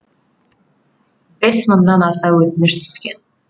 бес мыңнан аса өтініш түскен